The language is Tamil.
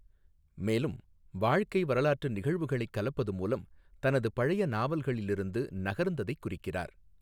மேலும், வாழ்க்கை வரலாற்று நிகழ்வுகளைக் கலப்பது மூலம் தனது பழைய நாவல்களிலிருந்து நகர்ந்ததைக் குறிக்கிறார்.